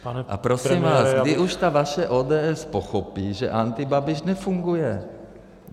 A prosím vás, kdy už ta vaše ODS pochopí, že antibabiš nefunguje?